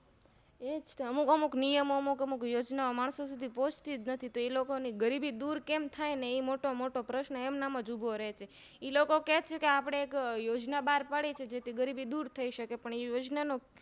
એજકે અમુક અમુક નિયમ મો અમુક અમુક યોજના ઓં માણસો સુધીપોહ્ચતીજ નથી એ લોકો ની ગરીબી દૂર કઈ રીતે થાય ને એ મોટો પ્રશ્ન એમન મજ ઉભો રે છે ઈલોકો કે છે કે આપણે એક યોજના બાર પાડીએ છીએ જેથી ગરીબી દૂર થઈસકે પણ યોજનાનો